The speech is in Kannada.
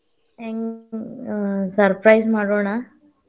ಹೆ~ ಹೆಂಗ್ surprise ಮಾಡೋಣ.